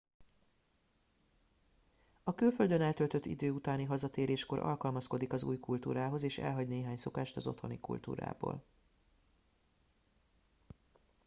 a külföldön eltöltött idő utáni hazatéréskor alkalmazkodik az új kultúrához és elhagy néhány szokást az otthoni kultúrából